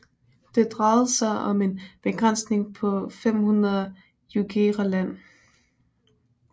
Det drejede sig om en begrænsning på 500 jugera land